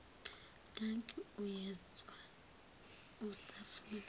dankie uyezwa usafuna